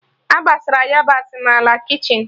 A gbasara yabasị n'ala kichin